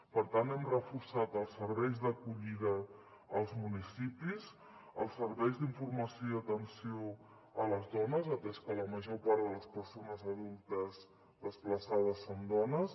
per tant hem reforçat els serveis d’acollida als municipis els serveis d’informació i atenció a les dones atès que la major part de les persones adultes desplaçades són dones